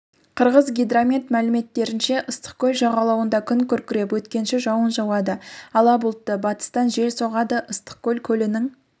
қырғызгидромет мәліметтерінше ыстықкөл жағалауында күн күркіреп өткінші жауын жауады ала бұлтты батыстан жел соғады ыстықкөл көлінің